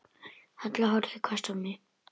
Halla horfði hvasst á mig.